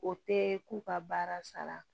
O tɛ k'u ka baara sara